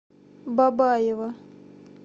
бабаево